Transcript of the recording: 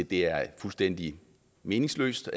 det er fuldstændig meningsløst